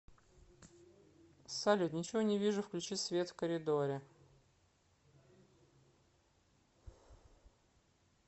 салют ничего не вижу включи свет в коридоре